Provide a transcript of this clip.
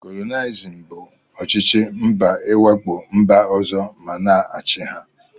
Kolonialisim bụ ọchịchị mba iwakpo mba ọzọ ma na achị ha.